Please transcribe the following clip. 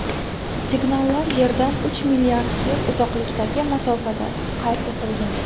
Signallar Yerdan uch milliard yil uzoqlikdagi masofada qayd etilgan.